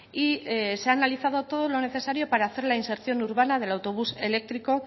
y se ha analizado todo lo necesario para hacer la reinserción urbana del autobús eléctrico